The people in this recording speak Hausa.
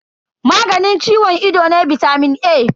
Maganin ciwon ido ne bitamin A.